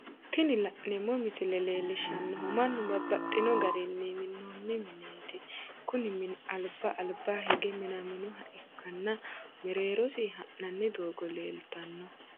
Tini la'neemo misile leellishanohu mannu babaxxino garinni minino mineeti kuni mini aliba aliba hige minaminoha ikkanna mereerosi ha'nanni doogo leelitanno